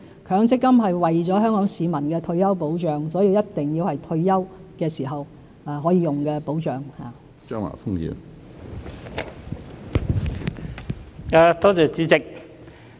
強積金是為了保障香港市民的退休生活而設，所以必須是退休時才可以用的保障。